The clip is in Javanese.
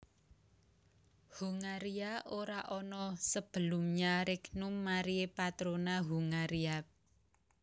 Hongaria ora ana sebelumnya Regnum Mariae Patrona Hungariae b